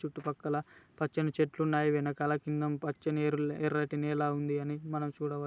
చుట్టుపక్కలా పచ్చని చెట్లు ఉన్నాయి. వెనుకల కింద పచ్చని ఎర్ర-ఎర్రటి నేల ఉంది అని మనం చూడవ --